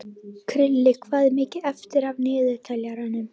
Krilli, hvað er mikið eftir af niðurteljaranum?